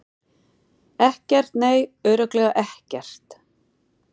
Ekkert, nei, örugglega ekkert.